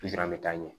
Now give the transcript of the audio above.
an bɛ taa ɲɛ